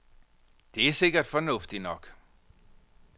Det er sikkert fornuftigt nok.